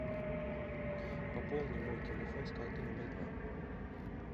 пополни мой телефон с карты номер два